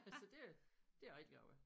Så det det jeg rigtig glad ved